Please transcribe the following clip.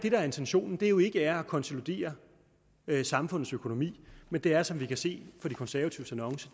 er intentionen er jo ikke at konsolidere samfundets økonomi men det er som vi kan se af de konservatives annonce